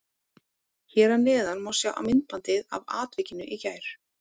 Hér að neðan má sjá myndbandið af atvikinu í gær.